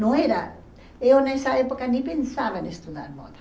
Não era... Eu nessa época nem pensava em estudar moda.